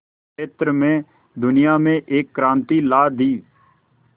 क्षेत्र में दुनिया में एक क्रांति ला दी